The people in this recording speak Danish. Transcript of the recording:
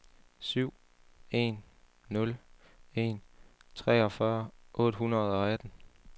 syv en nul en treogfyrre otte hundrede og atten